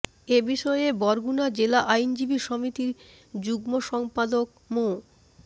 এ বিষয়ে বরগুনা জেলা আইনজীবী সমিতির যুগ্ম সম্পাদক মো